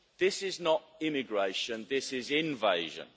This is not immigration, this is invasion.